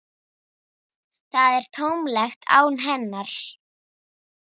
Það er tómlegt án hennar.